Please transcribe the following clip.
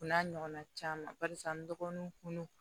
O n'a ɲɔgɔnna caman barisa n dɔgɔninw kunun